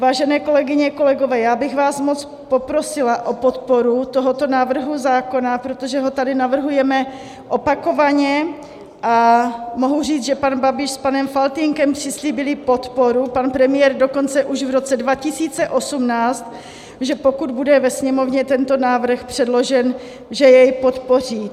Vážené kolegyně, kolegové, já bych vás moc poprosila o podporu tohoto návrhu zákona, protože ho tady navrhujeme opakovaně a mohu říci, že pan Babiš s panem Faltýnkem přislíbili podporu, pan premiér dokonce už v roce 2018, že pokud bude ve Sněmovně tento návrh předložen, že jej podpoří.